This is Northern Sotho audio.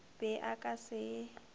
be a ka se e